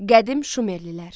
Qədim Şumerlilər.